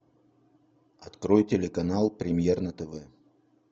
открой телеканал премьер на тв